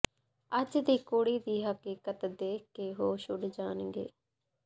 ਅੱਜ ਦੀ ਕੁੜੀ ਦੀ ਹਕੀਕਤ ਦੇਖਕੇ ਹੋਸ਼ ਉਡ ਜਾਣਗੇ